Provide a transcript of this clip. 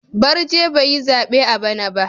Barje bai yi zabe a bana ba.